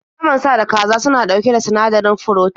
Naman sa da kaza suna ɗauke da sinadarin furotin